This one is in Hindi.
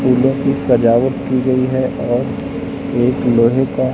फूलों की सजावट की गई है और एक लोहे का--